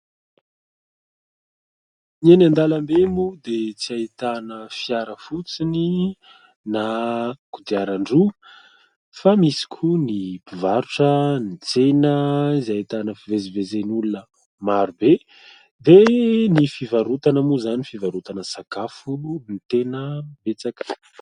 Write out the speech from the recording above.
Ny eny an-dalambe moa dia tsy ahitana fiara fotsiny na kodiaran-droa fa misy koa ny mpivarotra, ny tsena izay ahitana fivezivezen'olona maro be dia ny fivarotana moa izany, fivarotana sakafo no tena betsaka.